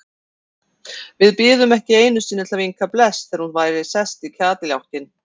Við biðum ekki einu sinni til að vinka bless þegar hún væri sest í kádiljákinn.